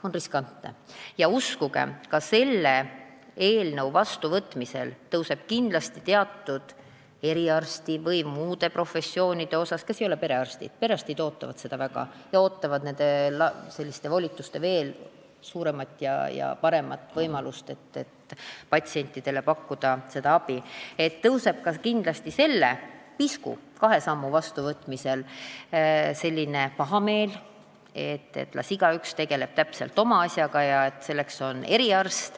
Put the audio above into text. Uskuge, ka selle seaduse vastuvõtmine, ka selle pisku, kahe sammu vastuvõtmine, tekitab kindlasti teatud eriarstide või muude professioonide esindajate seas, kes ei ole perearstid – perearstid ootavad seda seadust väga, nad ootavad suuremaid volitusi ja paremaid võimalusi, et patsientidele abi pakkuda –, pahameelt, nad arvavad, et las igaüks tegeleb oma asjaga ja et selliste teenuste osutamiseks on eriarst.